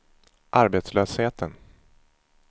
arbetslösheten